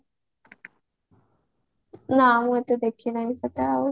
ନାଁ ମୁ ଏତେ ଦେଖିନାହିଁ ସେଟା ଆଉ